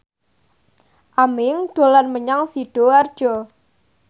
Aming dolan menyang Sidoarjo